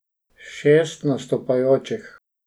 Šest nastopajočih.